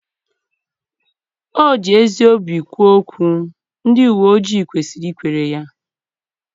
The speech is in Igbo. O ji ezi obi kwuo okwu, ndị uwe ojii kwesịrị ikwere ya.